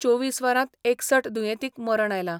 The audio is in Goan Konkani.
चोवीस वरांत एकसठ दुयेंतींक मरण आयला.